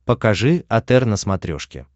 покажи отр на смотрешке